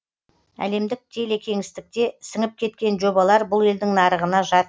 әлемдік телекеңістікке сіңіп кеткен жобалар бұл елдің нарығына жат